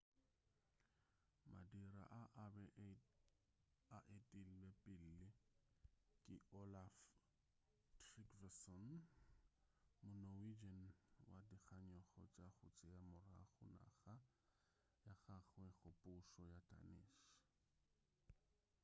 madira a a be a etilwe pele ke olaf trygvasson mo-norwegian wa dikganyogo tša go tšea morago naga ya gagwe go pušo ya danish